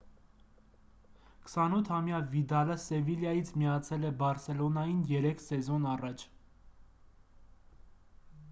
28-ամյա վիդալը սևիլյայից միացել է բարսելոնային երեք սեզոն առաջ